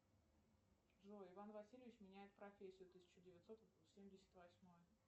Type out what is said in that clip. джой иван васильевич меняет профессию тысяча девятьсот семьдесят восьмой